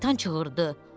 Şeytan qışqırdı: